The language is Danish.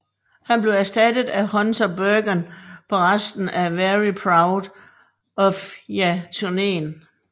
Han blev erstattet af Hunter Burgan på resten af Very Proud of Ya turnéen